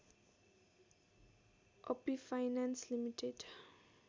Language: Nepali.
Api Finance limited